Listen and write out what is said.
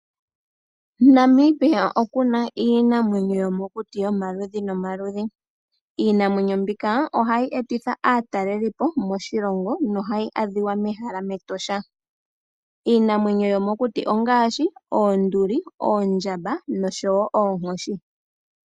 Namibia oku na iinamwenyo yomokuti yomaludhi nomaludhi. Iinamwenyo mbika ohayi etitha aatalelipo moshilongo nohayi adhika mEtosha. Iinamwenyo yomokuti ongaashi oonduli, oondjamba noshowo oonkoshi.